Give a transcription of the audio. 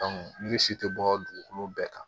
ni si tɛ bɔ dugukolo bɛɛ kan